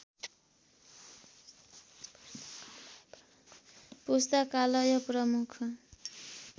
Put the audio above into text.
पुस्तकालय प्रमुख